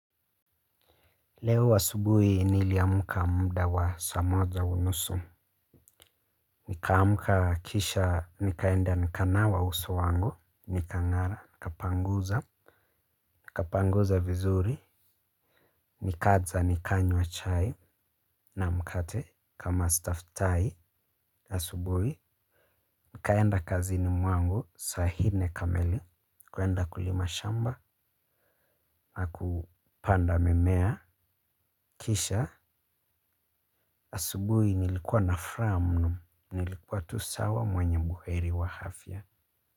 Leo asubuhi niliamka mda wa saa moja unusu. Nikaamka kisha, nikaenda nikanawa uso wangu, nikang'ara, nikapanguza, nikapanguza vizuri, nikaja nikanywa chai na mkate kama staftahi. Asubuhi, nikaenda kazini mwangu saa hine kamili, kuenda kulima shamba na kupanda mimea. Kisha asubuhi nilikuwa na fraha mno. Nilikuwa tu sawa mwenye buheri wa hafya.